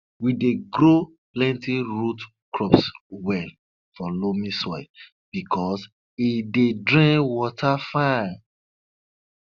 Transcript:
we dey grow plenty root crops well for loamy soil because e dey drain water fine